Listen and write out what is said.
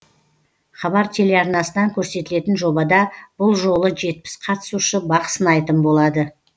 хабар телеарнасынан көрсетілетін жобада бұл жолы жетпіс қатысушы бақ сынайтын болады